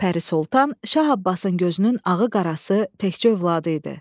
Pəri Sultan Şah Abbasın gözünün ağı-qarası təkcə övladı idi.